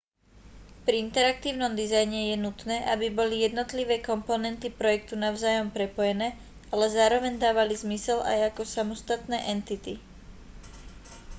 pri interaktívnom dizajne je nutné aby boli jednotlivé komponenty projektu navzájom prepojené ale zároveň dávali zmysel aj ako samostatné entity